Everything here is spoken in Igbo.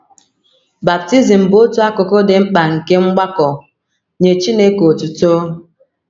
Baptizim bụ otu akụkụ dị mkpa nke mgbakọ “ Nye Chineke Otuto ”